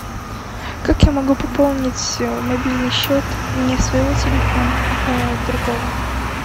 как я могу пополнить мобильный счет не своего телефона а другого